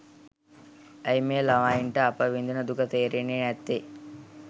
ඇයි මේ ළමයිට අපි විඳින දුක තේරෙන්නේ නැත්තේ